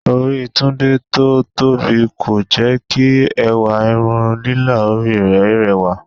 Orí Tunde tó tóbi kò jẹ́ kí ẹwà irun lílà orí rẹ̀ rẹwà